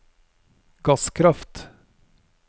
gasskraft